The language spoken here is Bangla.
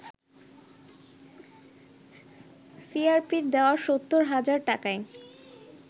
সিআরপির দেয়া ৭০ হাজার টাকায়